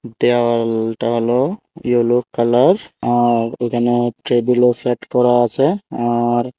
দেওয়ালটা হল yellow colour আর এখানেও টেবিলও সেট করা আছে আর--